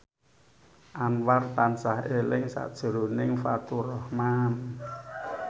Anwar tansah eling sakjroning Faturrahman